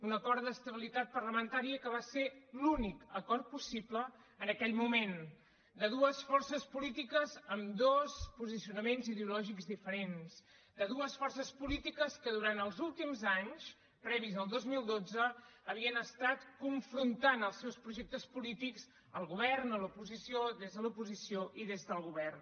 un acord d’estabilitat parlamentària que va ser l’únic acord possible en aquell moment de dues forces polítiques amb dos posicionaments ideològics diferents de dues forces polítiques que durant els últims anys previs al dos mil dotze havien estat confrontant els seus projectes polítics al govern a l’oposició des de l’oposició i des del govern